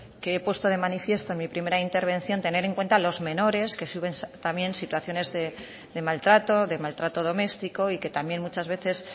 que he puesto de manifiesto en mi primera intervención tener en cuenta a los menores que sufren también situaciones de maltrato de maltrato doméstico y que también muchas veces